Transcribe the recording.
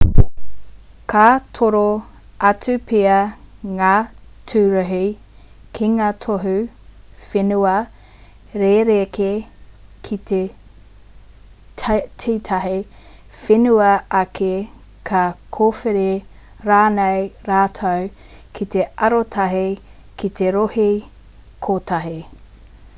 ka toro atu pea ngā tūruhi ki ngā tohu whenua rerekē ki tētahi whenua ake ka kōwhiri rānei rātou ki te arotahi ki te rohe kotahi